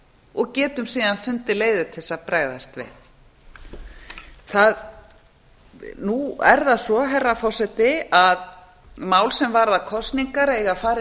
og getum síðan fundið leiðir til að bregðast við nú er það svo herra forseti að mál sem varða kosningar eiga að fara inn